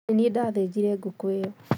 Nĩ niĩ ndathĩnjire ngũkũĩyo